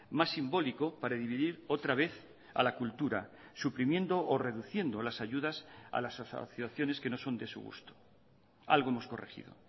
más simbólico para dividir otra vez a la cultura suprimiendo o reduciendo las ayudas a las asociaciones que no son de su gusto algo hemos corregido